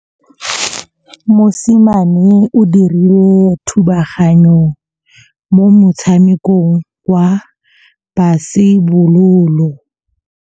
Mosimane o dirile thubaganyô mo motshamekong wa basebôlô.